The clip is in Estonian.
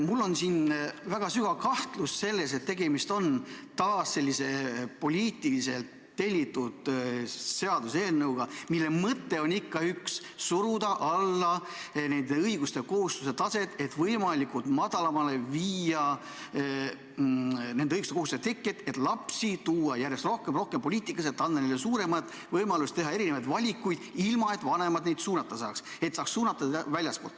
Mul on väga sügav kahtlus, et tegemist on taas sellise poliitilise, tellitud seaduseelnõuga, mille mõte on ikka üks: suruda alla sellised õigused ja kohustused, kahandada võimalikult palju selliste õiguste ja kohustuste teket, et lapsi saaks järjest rohkem ja rohkem poliitikasse tuua ning anda neile suuremad võimalused teha valikuid ilma, et vanemad neid suunata saaks, neid väljastpoolt suunata saaks.